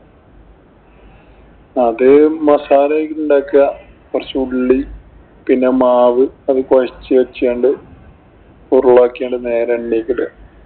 അത് മസാല യൊക്കെ ഉണ്ടാക്കുക. കൊറച്ച് ഉള്ളി, പിന്നെ മാവ്, അത് കൊഴച്ചു വച്ചോണ്ട് ഉരുളയാക്കി നേരേ എണ്ണയിലേക്കിടുക.